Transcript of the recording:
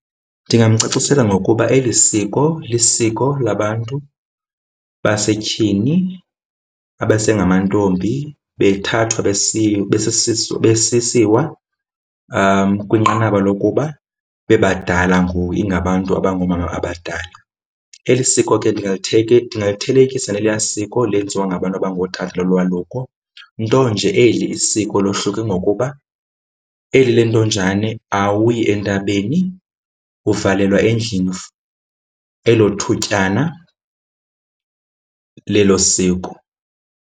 Ndingamcacisela ngokuba eli isiko lisiko labantu basetyhini abasengamantombi bethathwa besiya besisiwa kwinqanaba lokuba bebadala ngoku, ingabantu abangoomama abadala. Eli siko ke ndingathelekisa nelaa siko elenziwa ngabantu abangootata lolwaluko, nto nje eli isiko lohluke ngokuba eli le ntonjane awuyi entabeni, uvalelwa endlini elo thutyana lelo siko.